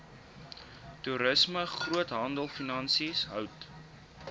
toerisme groothandelfinansies hout